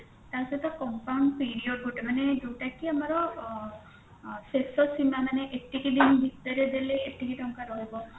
ତା ସହିତ compound period ଗୋଟେ ମାନେ ଯୋଉଟା କି ମାନେ ଆମର ଅ ଅ ଶେଷସୀମା ମାନେ ଏତିକି ଦିନ ଭିତରେ ଦେଲେ ଏତିକି ଟଙ୍କା ରହିବ